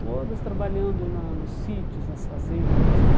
Todas trabalhando na nos sítios, nas fazendas, nas